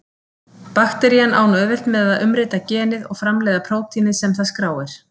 Bakterían á nú auðvelt með að umrita genið og framleiða prótínið sem það skráir.